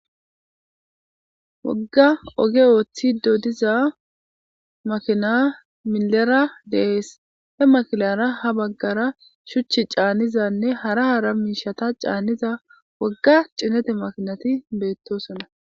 Woga oge othidi diza makina milera de'es ha makinara habagara shuchi canizane hara hara mishta caniza woga cinete makinati betosona